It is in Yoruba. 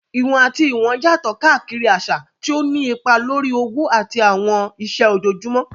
Ìwọ̀n àti ìwọ̀n yàtọ̀ káàkiri àṣà, tí ó ń nípa lórí òwò àti àwọn iṣẹ́ ojoojúmọ́.